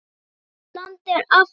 Slík blanda er afleit.